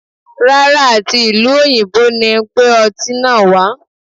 Rárá, à ti ìlú òyìnbó ni gbé ọtí náà wà á.